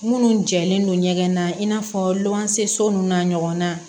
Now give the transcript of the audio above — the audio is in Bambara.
Minnu jɛlen don ɲɛgɛn na i n'a fɔ lɔgɔ se so ninnu na ɲɔgɔnna